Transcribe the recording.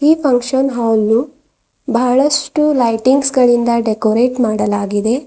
ಈ function hall ಬಹಳಷ್ಟು lightings ಗಳಿಂದ ಡೆಕೋರೇಟ್ ಮಾಡಲಾಗಿದೆ.